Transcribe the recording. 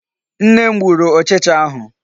Nne m gburu ụchịcha ahụ.